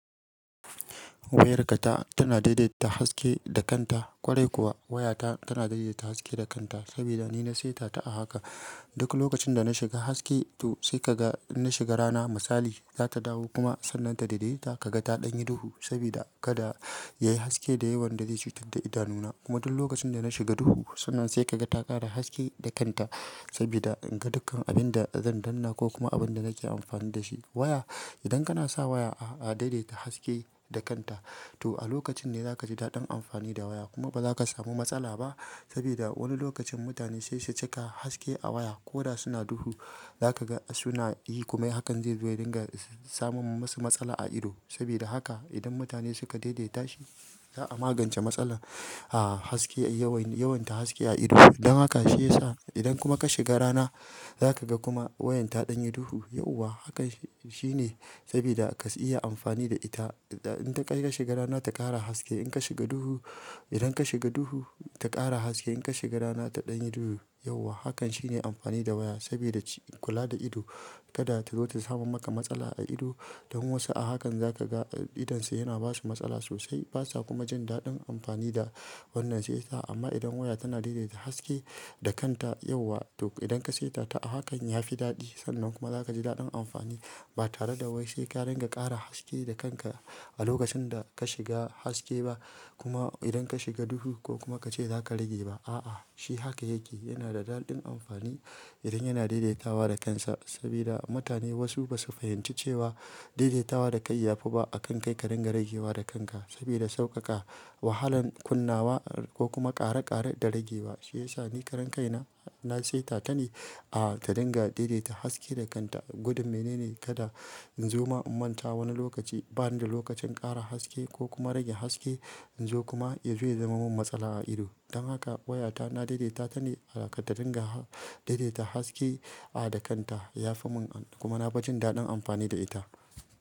Wayarka ta tana daidaita haske da kanta. Ƙwarai kuwa, wayata tana daidaita haske da kanta sabida nina saita ta a haka. Duk lokacin dana shiga haske to sai kaga inna shiga rana misali, zata dawo kuma sannan ta daidaita ka gata ɗanye duhu saboda kada yayi haske da yawan da zai cutar da idanuna. Kuma duk lokacin dana shiga duhu sannan sai kaga ta ƙara haske da kanta saboda inga dukkan abinda zan danna ko kuma abinda nake amfani da shi. Waya, idan kana sa waya a daidaita haske da kanta to a lokacin ne zaka ji daɗin amfani da waya kuma bazaka samu matsala ba saboda wani lokacin mutane saisu cika haske a waya koda suna duhu. Zakaga suna yi komai hakan zaizo ya dinga samun masu matsala a ido. Sabuda haka idan mutane suka daidaita shi, za'a magance matsalar, ah, haske yawan, yawan ta haske a ido. Don haka shiyasa idan kuma ka shiga rana zakaga kuma wayan ta ɗanye duhu yauwa. Hakan shine sabida ka iya amfani da ita. Idan ka shiga rana ta ƙara haske, inka shiga duhu, idan ka shiga duhu ta ƙara haske, inka shiga rana ta ɗanyi duhu yauwa. Hakan shine amfani da waya sabida kula da ido kada tazo ta samar maka matsala a ido. Don wasu a hakan zakaga idonsa yana basu matsala sosai, basa kuma jin daɗin amfani da wannan shiyasa. Amma idan waya tana daidaita haske da kanta yauwa to idan ka saita ta a hakan yafi daɗi sannan kuma zakaji daɗin amfani ba tareda wai saika dinga ƙara haske da kanka a lokacin da ka shiga haske ba kuma idan ka shiga duhu ko kuma kace zaka rage ba. A'a, shi haka yake, yana da daɗin amfani idan yana daidaitawa da kansa. Saboda mutane wasu basu fahimci cewa daidaitawa dakai yafi ba akan kai ka ringa ragewa da kanka saboda sauƙaƙa, wahalan kunnawa ko kuma ƙare-ƙare da ragewa. Shiyasa ni karan kaina na saita ta ne, ah, ta dinga daidaita haske da kanta. Gudun menene kada inzoma in manta wani lokaci, banida lokacin in ƙara haske ko kuma rage haske inzo kuma yazo ya zama min matsala a ido. Don haka wayata na daidaitata ne harda ta dinga daidaita haske, ah, da kanta yafi mun, kuma nafi jin daɗin amfani da ita.